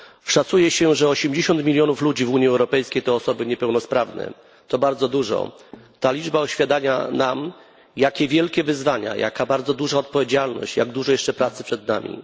Szacuje się, że 80 mln ludzi w Unii Europejskiej to osoby niepełnosprawne to bardzo dużo. Ta liczba uświadamia nam, jak wielkie wyzwania, jak ogromna odpowiedzialność i jak dużo jeszcze pracy przed nami.